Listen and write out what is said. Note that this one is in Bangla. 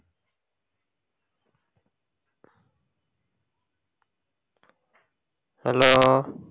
hello